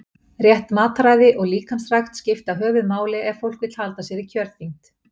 Rétt mataræði og líkamsrækt skipta höfuðmáli ef fólk vill halda sér í kjörþyngd.